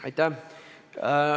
Aitäh!